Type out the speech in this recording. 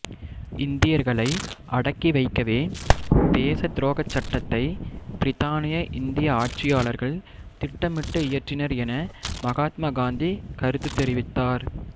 இந்தியர்களை அடக்கி வைக்கவே தேசத்துரோகச் சட்டத்தை பிரித்தானிய இந்திய ஆட்சியாளர்கள் திட்டமிட்டு இயற்றினர் என மகாத்மா காந்தி கருத்து தெரிவித்தார்